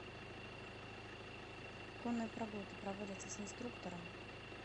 конные прогулки проводятся с инструктором